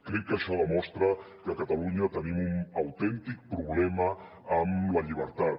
crec que això demostra que a catalunya tenim un autèntic problema amb la llibertat